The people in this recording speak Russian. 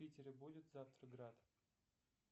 в питере будет завтра град